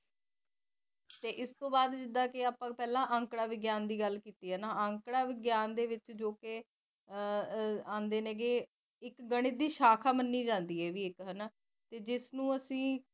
ਫਿਰ ਇਸ ਤੋ ਬਾਦ ਜਿਡਾ ਕੀ ਅਪਾ ਪਹਲਾ ਅੰਕਾੜਾ ਵਿਗਿਆਨ ਦੀ ਗੱਲ ਕੀਤੀ ਅੰਕੜਾ ਵਿਗਿਆਨ ਦੇ ਵਿੱਚ ਜੋ ਕਿ ਆਂਦਾ ਨੇ ਇੱਕ ਗਣਿਤ ਦੀ ਸ਼ਾਖਾ ਮੰਨੀ ਜਾਂਦੀ ਹਨਾ ਜਿਸਨੂੰ ਅਸੀ